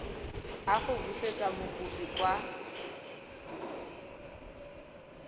a go busetsa mokopi kwa